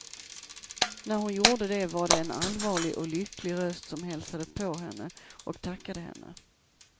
När hon gjorde det var det en allvarlig och lycklig röst som hälsade på henne och tackade henne.